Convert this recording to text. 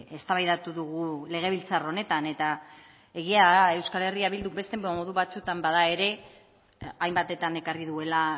eztabaidatu dugu legebiltzar honetan eta egia da euskal herria bilduk beste modu batzuetan bada ere hainbatetan ekarri duela